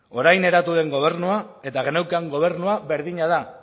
orain eratu den gobernua eta geneukan gobernua berdina da